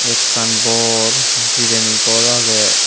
ekkan bor jireni gor agey.